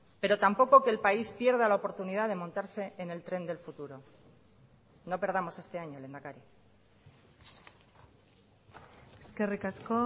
pero tampoco que el país pierda la oportunidad de montarse en el tren del futuro no perdamos este año lehendakari eskerrik asko